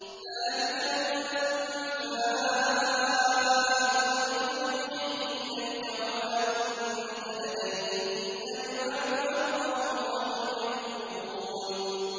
ذَٰلِكَ مِنْ أَنبَاءِ الْغَيْبِ نُوحِيهِ إِلَيْكَ ۖ وَمَا كُنتَ لَدَيْهِمْ إِذْ أَجْمَعُوا أَمْرَهُمْ وَهُمْ يَمْكُرُونَ